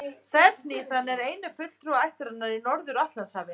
Selhnísan er eini fulltrúi ættarinnar í Norður-Atlantshafi.